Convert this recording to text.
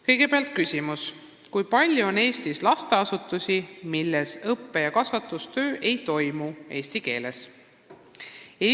Esimene küsimus: "Kui palju on Eestis lasteasutusi, milles õppe- ja kasvatustöö ei toimu eesti keeles?